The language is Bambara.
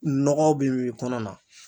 Nɔgɔ bi min kɔnɔ na.